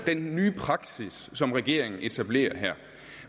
denne nye praksis som regeringen etablerer her